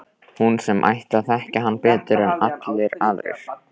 Hún sem ætti að þekkja hann betur en allir aðrir.